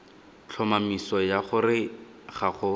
tlhomamiso ya gore ga go